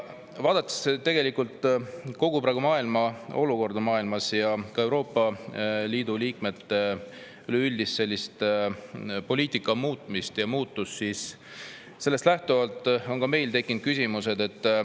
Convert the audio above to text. Vaadates kogu maailma praegust olukorda ja ka Euroopa Liidu liikmes üleüldist poliitika muutmist ja muutust, on meil tekkinud küsimused.